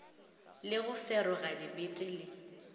le go feroga dibete le